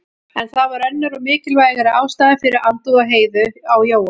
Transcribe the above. En það var önnur og mikilvægari ástæða fyrir andúð Heiðu á Jóa.